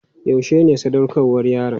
Yaushe ne sadaukarwar yaron?